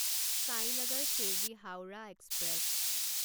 Sainagar Shirdi Howrah express